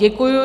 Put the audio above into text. Děkuji.